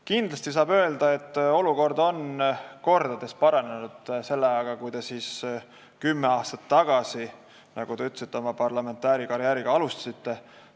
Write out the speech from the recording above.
Kindlasti saab öelda, et olukord on mitu korda paranenud, võrreldes selle ajaga, kui te kümme aastat tagasi, nagu te ütlesite, oma parlamendiliikme karjääri alustasite.